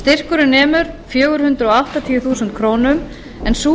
styrkurinn nemur fjögur hundruð áttatíu þúsund krónur en sú